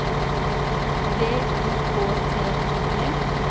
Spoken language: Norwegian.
V I K T I G